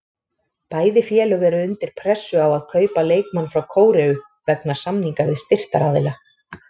Bæði félög eru undir pressu á að kaupa leikmann frá Kóreu vegna samninga við styrktaraðila.